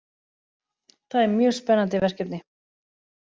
Það er mjög spennandi verkefni